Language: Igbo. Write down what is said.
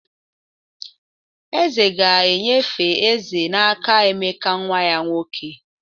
eze ga-enyefe eze n'aka emeka nwa ya nwoke